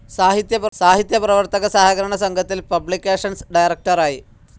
സാഹിത്യ പ്രവർത്തക സഹകരണ സംഘത്തിൽ പബ്ലിക്കേഷൻസ്‌ ഡയറക്ടറായി.